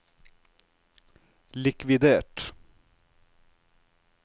likvidert